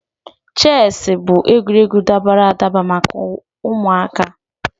Chesị bụ egwuregwu dabara adaba maka ụmụaka.